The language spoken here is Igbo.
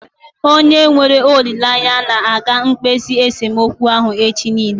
Anyị nwere olileanya na aga ekpezi esemokwu ahụ echi niile